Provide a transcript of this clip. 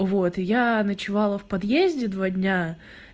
вот я ночевала в подъезде два дня